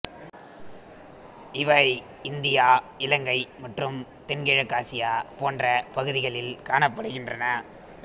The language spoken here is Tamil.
இவை இந்தியா இலங்கை மற்றும் தென்கிழக்காசியா போன்ற பகுதிகளில் காணப்படுகின்றன